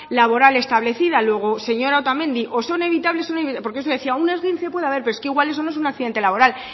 laboral establecida luego señora otamendi o son evitables o porque eso decía que un esguince puede haber pero es que igual eso no es un accidente laboral